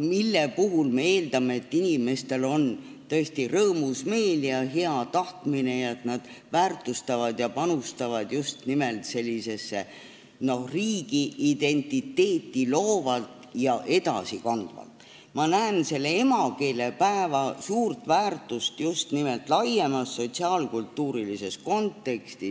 sel puhul me eeldame, et inimestel on rõõmus meel ja tahtmine panustada just nimelt riigiidentiteeti loovalt ja edasikandvalt ning seda väärtustada.